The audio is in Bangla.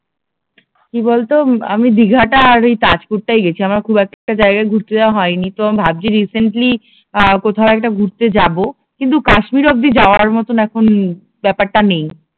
কি বলতো আমি দীঘাটা আর ওই তাজপুর টাই গেছি আমার খুব একটা জায়গায় ঘুরতে যাওয়া হয় নি তো আমি ভাবছি যে রিসেন্টলি আহ কোথাও একটা ঘুরতে যাব কিন্তু কাশ্মীর অব্দি যাওয়ার মতন এখন ব্যাপারটা নেই